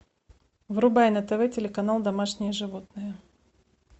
врубай на тв телеканал домашние животные